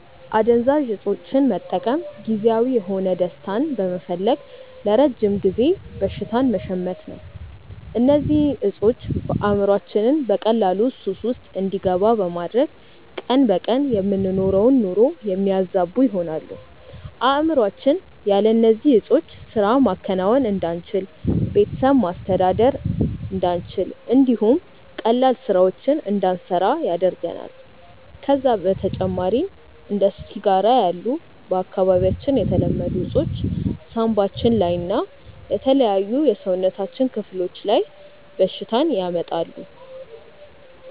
አደንዛዥ እፆችን መጠቀም ጊዜያዊ የሆነ ደስታን በመፈለግ ለረጅም ጊዜ በሽታን መሸመት ነው። እነዚህ እፆች አእምሮአችንን በቀላሉ ሱስ ውስጥ እንዲገባ በማድረግ ቀን በቀን የምንኖረውን ኑሮ የሚያዛቡ ይሆናሉ። አእምሮአችን ያለ እነዚህ ዕጾች ስራ ማከናወን እንዳንችል፣ ቤተሰብ ማስተዳደር እንዳንችል እንዲሁም ቀላል ስራዎችን እንዳንሰራ ያደርገናል። ከዛም በተጨማሪ እንደ ሲጋራ ያሉ በአካባቢያችን የተለመዱ እፆች ሳንባችን ላይ እና የተለያዩ የሰውነታችን ክፍሎች ላይ በሽታን ያመጣሉ።